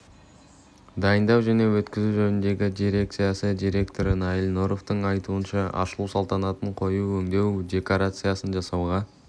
дайындау және өткізу жөніндегі дирекциясы директоры наиль нуровтың айтуынша ашылу салтанатын қою өңдеу декорациясын жасауға